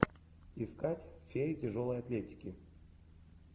искать феи тяжелой атлетики